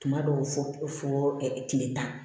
Tuma dɔw fɔ ɛ tile tan